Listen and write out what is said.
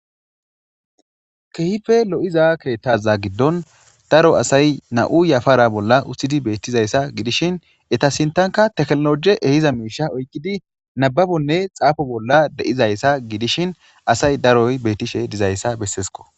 Kehipee loiza keeththaza gidon daro asa nau yafara bola utidi betizayita gidishen eta sintanka tekinoloje ahiza miishsha utidi nababonne xafo bola deizayisa gidishin asay daroy betishe dizayisa besesikko.